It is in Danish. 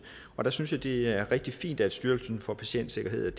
der synes jeg at det er rigtig fint er styrelsen for patientsikkerhed